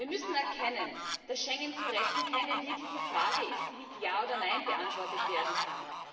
Wir müssen erkennen, dass Schengen zu retten keine wirkliche Frage ist, die mit ja oder nein beantwortet werden kann.